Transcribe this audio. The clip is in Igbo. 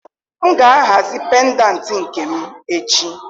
M ga-ahazi pendantị nke m echi.